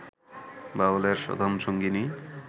বাউলের সাধনসঙ্গিনী